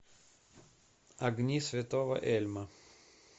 огни святого эльма